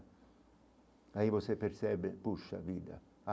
Aí você percebe, puxa a vida.